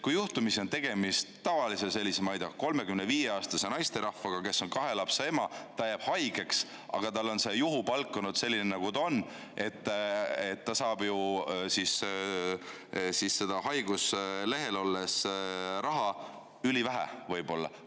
Kui juhtumisi on tegemist tavalise, ma ei tea, 35‑aastase naisterahvaga, kes on kahe lapse ema, ta jääb haigeks, aga tal on see juhupalk olnud selline, nagu ta on, siis ta saab ju haiguslehel olles ülivähe raha.